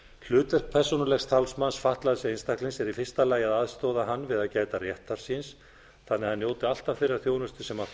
hlutverk persónulegs talsmanns fatlaðs einstaklings er í fyrsta lagi að aðstoða hann við að gæta réttar síns þannig að hann njóti alltaf þeirrar þjónustu sem